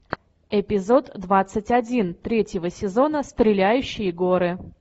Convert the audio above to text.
эпизод двадцать один третьего сезона стреляющие горы